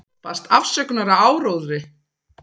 Baðst afsökunar á áróðri